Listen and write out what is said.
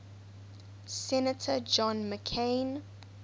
senator john mccain